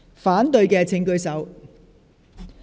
反對的請舉手。